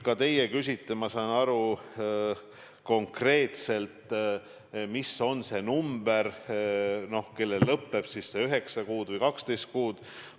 Ka teie küsite, ma saan aru, konkreetselt, mis on see number, kui palju on inimesi, kellel saab see 9 kuud või 12 kuud täis.